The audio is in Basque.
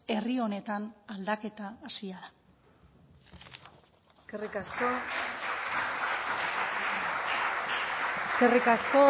herri honetan aldaketa hasia da eskerrik asko